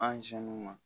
An